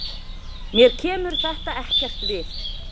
Mér kemur þetta ekkert við.